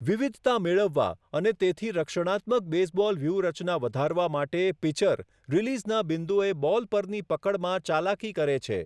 વિવિધતા મેળવવા, અને તેથી રક્ષણાત્મક બેઝબોલ વ્યૂહરચના વધારવા માટે, પિચર રીલીઝના બિંદુએ બોલ પરની પકડમાં ચાલાકી કરે છે.